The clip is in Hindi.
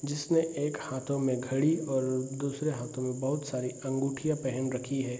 जिसने एक हाथों में घड़ी और दूसरे हाथों में बहुत सारी अंगूठियाँ पेहन रखी हैं।